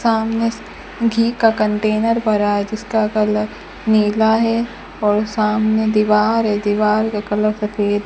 सामने घी का कंटेनर भरा है जिसका कलर नीला है और सामने दीवार है दीवार का कलर सफेद है।